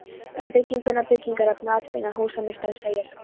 Um bygginguna, byggingarefnið og atbeina húsameistarans segir